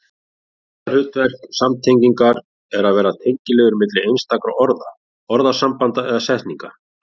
Aðalhlutverk samtengingar er að vera tengiliður milli einstakra orða, orðasambanda eða setninga.